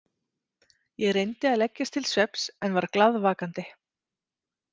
Ég reyndi að leggjast til svefns en var glaðvakandi.